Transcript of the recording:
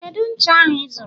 Kedu ncha ahụ ịzụrụ